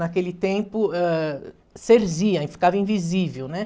Naquele tempo, ãh, cerzia, ficava invisível, né?